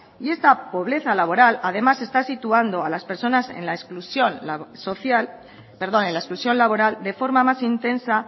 y esta pobreza laboral además está situando a las personas en la exclusión laboral de forma más intensa